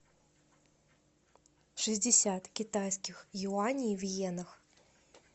шестьдесят китайских юаней в йенах